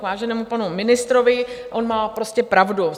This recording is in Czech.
K váženému panu ministrovi, on má prostě pravdu.